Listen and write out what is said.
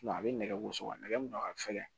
a bɛ nɛgɛ gosi wa nɛgɛ min don a ka fɛgɛn